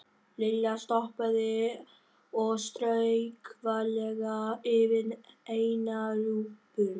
Lilla stoppaði og strauk varlega yfir eina rjúpuna.